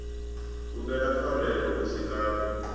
humbele pfarelo hu si kale